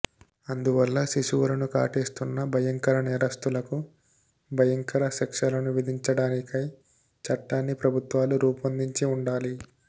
అందువల్ల శిశువులను కాటేస్తున్న భయంకర నేరస్థులకు భయంకర శిక్షలను విధించడానికై చట్టాన్ని ప్రభుత్వాలు రూపొందించి ఉండాలి